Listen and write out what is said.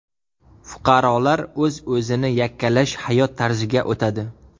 Fuqarolar o‘z-o‘zini yakkalash hayot tarziga o‘tadi.